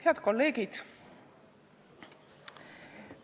Head kolleegid!